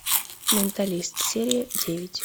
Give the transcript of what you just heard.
менталист серия девять